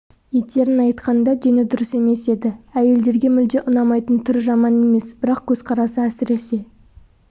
етерін айтқанда дені дұрыс емес еді әйелдерге мүлде ұнамайтын түрі жаман емес бірақ көзқарасы әсіресе